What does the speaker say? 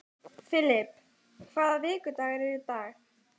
Filip, hvaða vikudagur er í dag?